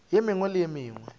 ye mengwe le ye mengwe